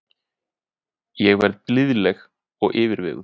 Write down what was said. Ég verð blíðleg og yfirveguð.